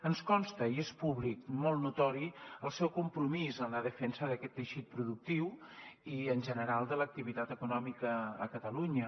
ens consta i és públic molt notori el seu compromís en la defensa d’aquest teixit productiu i en general de l’activitat econòmica a catalunya